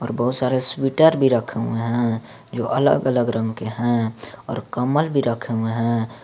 और बहुत सारे स्वेटर भी रखे हुए है जो अलग अलग रंग के हैं और कम्बल भी रखे हुए हैं।